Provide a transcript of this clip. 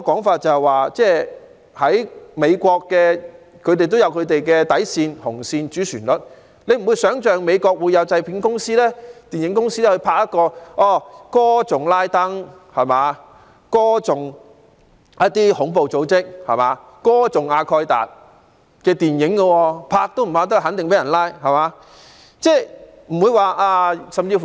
況且，美國也有本身的底線、紅線、主旋律，難以想象會有美國的製片公司、電影公司拍攝歌頌拉登、恐怖組織、阿蓋達的電影，相信除禁止拍攝外，製作人也肯定會被拘捕。